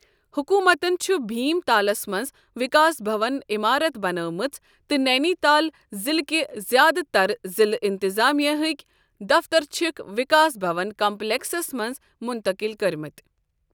حکوٗمتن چھُ بھیم تالَس منٛز وکاس بھون عمارت بنٲومٕژ تہٕ نینی تال ضلعٕکۍ زِیٛادٕ تَر ضلع انتظامیہ ہکۍ دفتر چھِكھ وکاس بھون کمپلیکسَس منٛز منتقٕل کٔرۍمٕتۍ۔